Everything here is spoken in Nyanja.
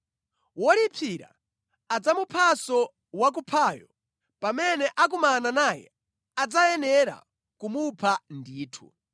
Wolipsira adzamuphanso wakuphayo. Pamene akumana naye adzayenera kumupha ndithu.